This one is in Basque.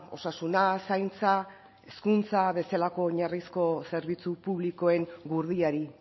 osasuna zaintza edo hezkuntza bezalako oinarrizko zerbitzu publikoen gurdiari